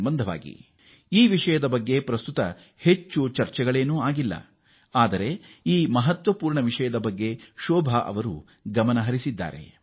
ಈ ಮಹತ್ವದ ವಿಚಾರದ ಬಗ್ಗೆ ಹೆಚ್ಚು ಚರ್ಚಿಸುವ ವಿಚಾರವಲ್ಲ ಆದರೂ ಅದು ಶೋಭಾ ಅವರ ಗಮನ ಸೆಳೆದಿದೆ